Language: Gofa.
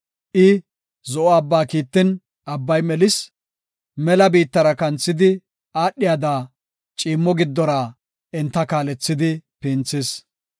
I Zo7o abba kiittin, abbay melis; mela biittara kanthidi aadhiyada, ciimmo giddora enta kaalethidi pinthis.